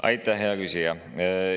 Aitäh, hea küsija!